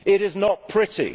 It is not pretty.